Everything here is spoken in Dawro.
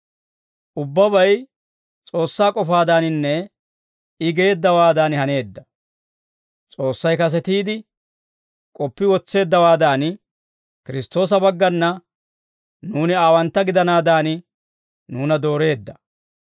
Ubbabay S'oossaa k'ofaadaaninne I geeddawaadan haneedda; S'oossay kasetiide k'oppi wotseeddawaadan, Kiristtoosa baggana nuuni aawantta gidanaadan, nuuna dooreedda.